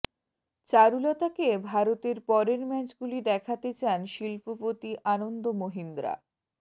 চারুলতাকে ভারতের পরের ম্যাচগুলি দেখাতে চান শিল্পপতি আনন্দ মহিন্দ্রা